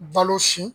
Balo si